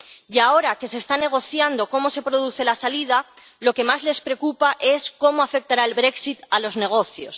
Y ahora, que se está negociando cómo se produce la salida, lo que más les preocupa es cómo afectará el a los negocios.